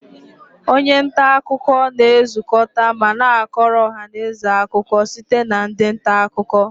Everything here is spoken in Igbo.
Onye nta akụkọ na-ezukọta ma na-akọrọ ọha na eze akụkọ site na ndị nta akụkọ